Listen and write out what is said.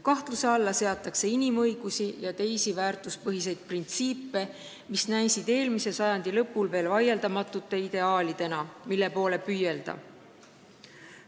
Kahtluse alla seatakse inimõigusi ja teisi väärtuspõhiseid printsiipe, mis näisid veel eelmise sajandi lõpul vaieldamatute ideaalidena, mille poole püüelda.